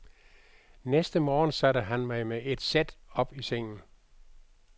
Næste morgen satte han mig med et sæt op i sengen.